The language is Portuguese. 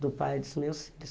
do pai dos meus filhos.